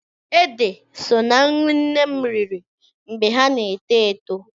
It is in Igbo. Ede so ná nri nne m riri mgbe ha na-eto eto.